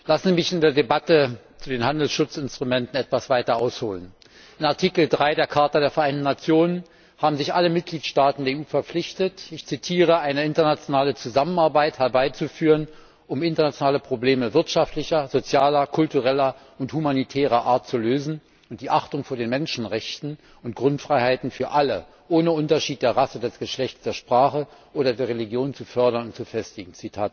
Lassen Sie mich in der Debatte zu den Handelsschutzinstrumenten etwas weiter ausholen. In Artikel 3 der Charta der Vereinten Nation haben sich alle Mitgliedstaaten der EU verpflichtet, eine internationale Zusammenarbeit herbeizuführen, um internationale Probleme wirtschaftlicher, sozialer, kultureller und humanitärer Art zu lösen und die Achtung vor den Menschenrechten und Grundfreiheiten für alle ohne Unterschied der Rasse, des Geschlechts, der Sprache oder der Religion zu fördern und zu festigen.